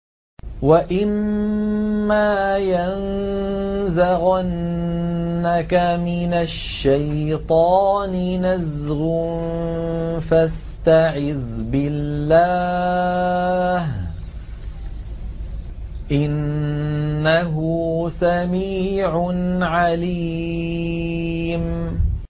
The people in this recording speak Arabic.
وَإِمَّا يَنزَغَنَّكَ مِنَ الشَّيْطَانِ نَزْغٌ فَاسْتَعِذْ بِاللَّهِ ۚ إِنَّهُ سَمِيعٌ عَلِيمٌ